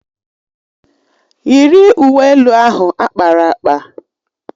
Yiri uwe elu ahụ akpara akpa!